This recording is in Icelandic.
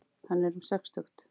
Hann er um sextugt.